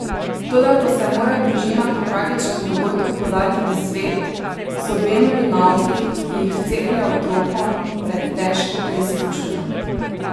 Toda ko se mora družina po tragičnem dogodku podati v svet, so Benovi nauki, ki jih vceplja otrokom, pred težko preizkušnjo.